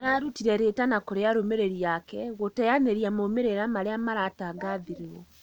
Nĩararutire rĩtana kurĩ arumĩrĩri ake gũteyanĩria maumĩrĩra maria maratangathirwo